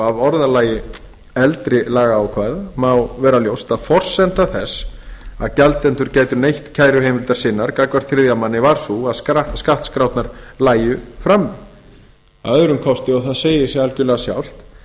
orðalagi eldri lagaákvæða má vera ljóst að forsenda þess að gjaldendur gætu neytt kæruheimildar sinnar gagnvart þriðja manni var sú að skattskrárnar lægju frammi að öðrum kosti og það segir sig algjörlega sjálft